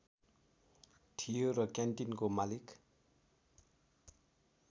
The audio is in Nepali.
थियो र क्यान्टिनको मालिक